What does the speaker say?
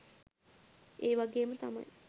ඒවගේම තමයි